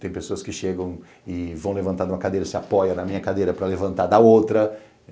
Tem pessoas que chegam e vão levantar de uma cadeira, se apoiam na minha cadeira para levantar da outra.